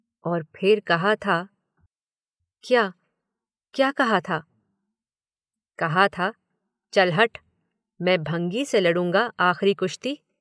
और फिर कहा था। क्या? क्या कहा था? कहा था, चल हट, मैं भंगी से लड़ूंगा आखिरी कुश्ती?